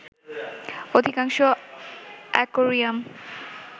অধিকাংশ অ্যাকোয়ারিয়াম